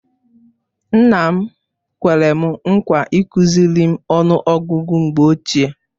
Nna m kwere m nkwa ịkụziri m ọnụ ọgụgụ mgbe ochie.